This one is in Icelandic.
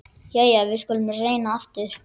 Jæja, við skulum reyna aftur.